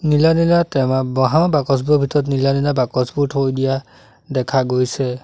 নীলা নীলা টেমা বাঁহৰ বাকচবোৰৰ ভিতৰত নীলা নীলা বাকচবোৰ থৈ দিয়া দেখা গৈছে।